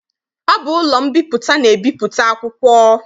Ọ bụ ụlọ mbipụta na-ebipụta akwụkwọ.